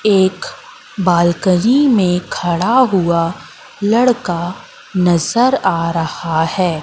एक बालकनी में खड़ा हुआ लड़का नजर आ रहा है।